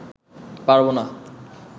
পারব না